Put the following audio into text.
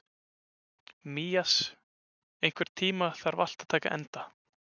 Mías, einhvern tímann þarf allt að taka enda.